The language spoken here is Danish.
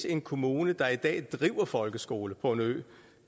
en kommune der i dag driver folkeskole på en ø